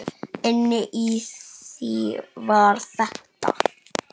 Inni í því var þetta.